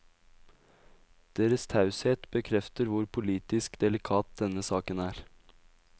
Deres taushet bekrefter hvor politisk delikat denne saken er.